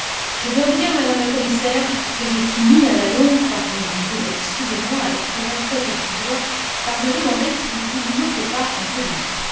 Je dois vous dire, Madame la Commissaire, que je finis à la longue excusez moi, avec tout le respect que je vous dois par me demander si vous ne vous moquez pas un peu de nous.